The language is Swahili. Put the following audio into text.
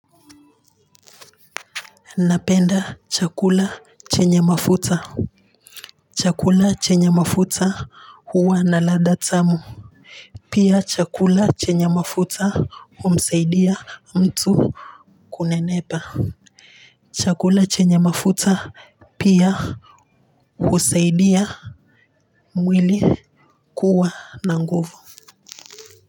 Napenda chakula chenye mafuta chakula chenye mafuta huwa na ladha tamu pia chakula chenye mafuta humsaidia mtu kunenepa. Chakula chenye mafuta pia husaidia mwili kuwa na nguvu.